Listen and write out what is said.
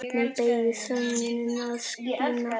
Hvernig beygist sögnin að skína?